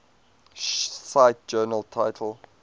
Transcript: cite journal title